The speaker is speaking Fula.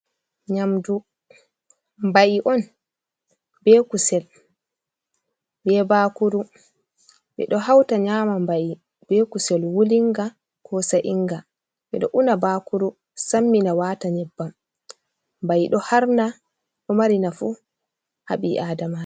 Nyamdu mbai on be kusel be bakuru. Ɓedo hauta nyama mbai be kusel wulinga, ko sa'inga, ɓeɗo una bakuru sammina waata nyebbam. Mbai ɗo harna ɗo mari naafu haa ɓi Adama.